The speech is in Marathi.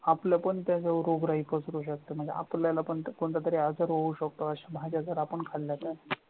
आपलं पण त्या जवळ रोगराई पसरू शकते म्हणजे आपल्याला कोणता कोणता तरी असा रोग होऊ शकतो अशा जायच्या जर आपण खाल्ला तर